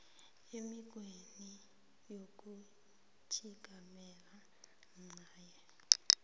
emikghweni yokutjhigamela ncanye